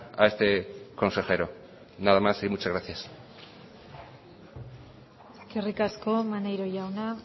a este consejero nada más y muchas gracias eskerrik asko maneiro jauna